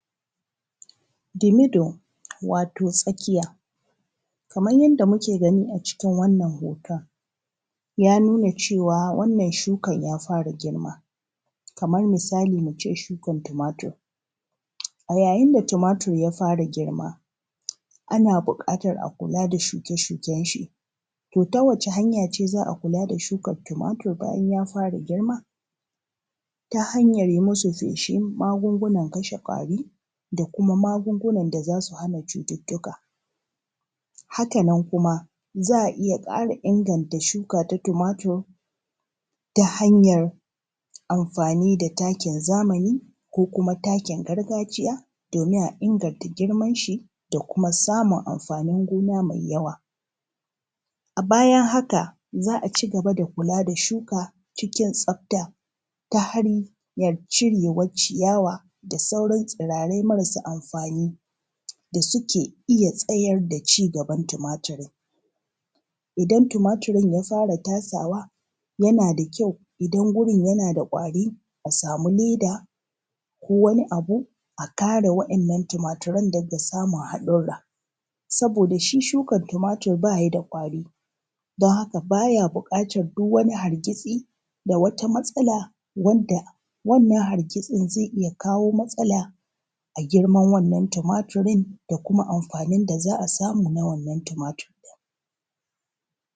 The middle wato tsakiya, kaman yanda muke gani a cikin wannan hooton, ya nuna cewa wannan shukan ya fara girma kaman misali mu ce shukan tumatur, a yayin da tumatur ya fara girma ana buƙatar a kula da shuke-shuken shi. To ta wace hanya ce za a kula da shukar tumatur bayan ya fara girma? Ta hanyar yi masu feshin magungunan kashe ƙwari da kuma magungunan da za su hana cututtuka, haka nan kuma, za a iya ƙara inganta shuka ta tumatur ta hanyar amfaani da takin zamani ko kuma takin gargajiya doomin a inganta girman shi da kuma samun amfanin gona mai yawa. A bayan haka, za a cigaba da kulaa da shuka cikin tsafta ta hanyan cireewar ciyawa da sauran tsiraarai marasu amfani da suke iya tsayar da cigaban tumaturin, idan tumaturin ya fara tasawa yana dakyau idan gurin yana da ƙwari a samu leda ko wani abu a kare wa'innan tumatiran daga samun haɗurra, sabooda shi shukar tumatir ba ya da ƙwari don haka ba ya buƙatar duk wani hargitsi da wata matsala wadda wannan hargitsin zai iya kawoo matsala a girman wannan tumaturin da kuma amfaanin da za a samu na wannan tumatur ɗin.